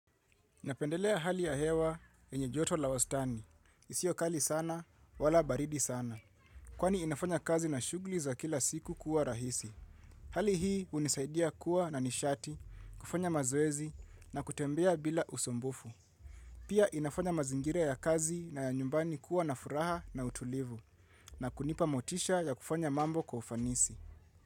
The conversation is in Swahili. Napendelea hali ya hewa yenye joto la wastani. Isiyo kali sana wala baridi sana. Kwani inafanya kazi na shugli za kila siku kuwa rahisi. Hali hii unisaidia kuwa na nishati kufanya mazoezi na kutembea bila usumbuvu pia inafanya mazingira ya kazi na ya nyumbani kuwa na furaha na utulivu na kunipa motisha ya kufanya mambo kwa ufanisi.